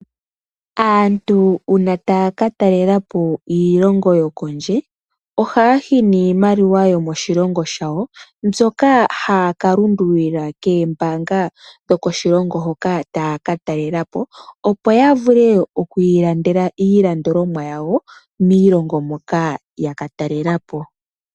Aantu uuna taya katalelapo iilongo yokondje, ohaya yi niimaliwa yomoshilongo shawo mbyoka haya kalundululila koombaanga dhokoshilongo hoka tayaka talelapo, opo ya vule oku ilandela iilandolomwa yawo miiilongo moka yaka talelapo.